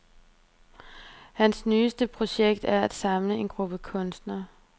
Hans nyeste projekt er at samle en gruppe kunstnere.